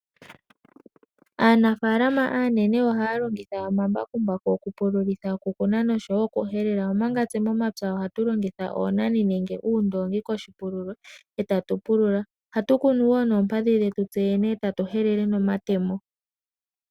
Aanafalama aanene ohaya longitha omambakumbaku okupululitha, okukuna nosho wo okuhelela. Omanga tse momapya ohatu longitha oonani nenge uundoongi koshipululo etatu pulula. Ohatu kunu wo noompadhi dhetu yene etatu helele nomatemo.